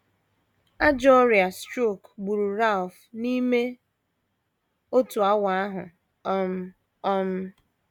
Ajọ ọrịa strok gburu Ralph n’ime otu awa ahụ um. um